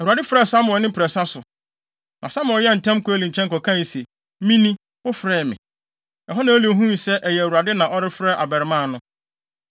Awurade frɛɛ Samuel ne mprɛnsa so. Na Samuel yɛɛ ntɛm kɔɔ Eli nkyɛn kɔkae se, “Mini; wofrɛɛ me.” Ɛhɔ na Eli huu sɛ ɛyɛ Awurade na ɔrefrɛ abarimaa no.